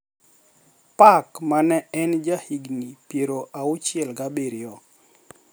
Park ma ne en ja higni pier auchiel ga abiriyo